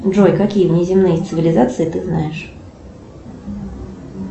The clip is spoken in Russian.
джой какие внеземные цивилизации ты знаешь